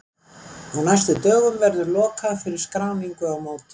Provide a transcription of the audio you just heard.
Á næstu dögum verður lokað fyrir skráningu á mótið.